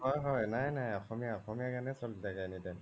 নাই নাই অসমীয়া গানে বোৰে চ্লি থাকে anytime